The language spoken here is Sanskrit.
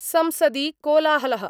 संसदि कोलाहल: